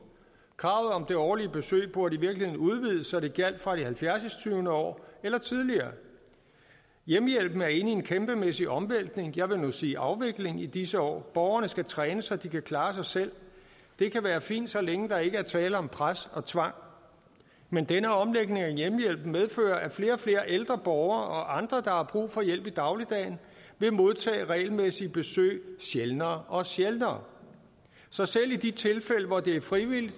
kravet om det årlige besøg burde i virkeligheden udvides så det gjaldt fra det halvfjerds år år eller tidligere hjemmehjælpen er inde en kæmpemæssig omvæltning jeg vil nu sige afvikling i disse år borgerne skal trænes så de kan klare sig selv det kan være fint så længe der ikke er tale om pres og tvang men denne omlægning af hjemmehjælpen medfører at flere og flere ældre borgere og andre der har brug for hjælp i dagligdagen vil modtage regelmæssige besøg sjældnere og sjældnere så selv i de tilfælde hvor det er frivilligt